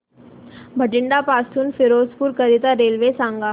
बठिंडा पासून फिरोजपुर करीता रेल्वे सांगा